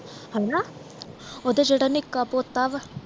ਹਣਾ ਉਹਦੇ ਜਿਹੜਾ ਨਿੱਕਾ ਪੋਤਾ ਵਾ